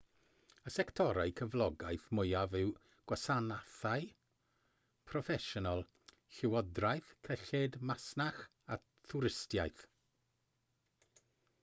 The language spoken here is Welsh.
y sectorau cyflogaeth mwyaf yw gwasanaethau proffesiynol llywodraeth cyllid masnach a thwristiaeth